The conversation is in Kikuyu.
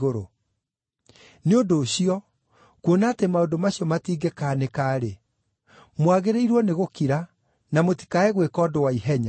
Nĩ ũndũ ũcio, kuona atĩ maũndũ macio matingĩkaanĩka-rĩ, mwagĩrĩirwo nĩ gũkira, na mũtikae gwĩka ũndũ wa ihenya.